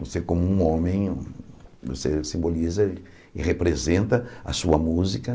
Você, como um homem, você simboliza e representa a sua música.